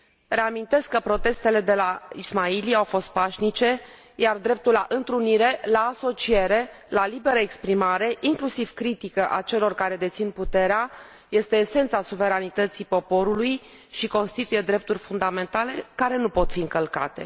Reamintesc că protestele de la Ismaili au fost pașnice, iar dreptul la întrunire, la asociere, la liberă exprimare, inclusiv critică a celor care dețin puterea este esența suveranității poporului și constituie drepturi fundamentale, care nu pot fi încălcate.